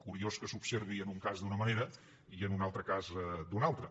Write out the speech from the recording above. curiós que s’observi en un cas d’una manera i en un altre cas d’una altra